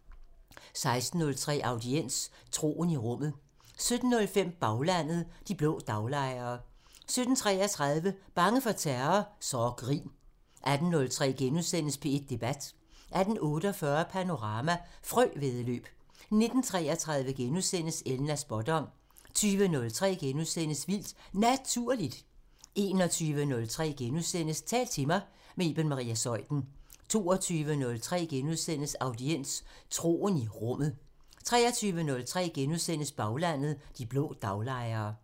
16:03: Audiens: Troen i Rummet 17:05: Baglandet: De blå daglejere 17:33: Bange for terror? Så grin 18:03: P1 Debat * 18:48: Panorama: Frøvæddeløb 19:33: Elnas spådom * 20:03: Vildt Naturligt * 21:03: Tal til mig – med Iben Maria Zeuthen * 22:03: Audiens: Troen i Rummet * 23:03: Baglandet: De blå daglejere *